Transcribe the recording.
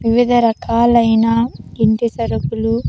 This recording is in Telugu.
వివిధ రకాలైన ఇంటి సరుకులు.